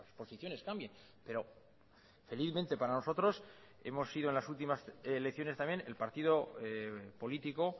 posiciones cambien pero felizmente para nosotros hemos sido en las últimas elecciones también el partido político